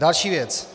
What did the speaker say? Další věc.